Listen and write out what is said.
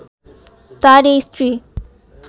তার এই স্ত্রী